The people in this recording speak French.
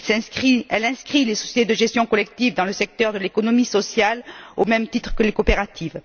Il inscrit les sociétés de gestion collective dans le secteur de l'économie sociale au même titre que les coopératives.